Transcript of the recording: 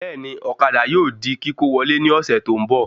Bẹ́ẹ̀ni, ọ̀kadà yóò di kíkó wọlé ní ọ̀sẹ̀ tó ń bọ̀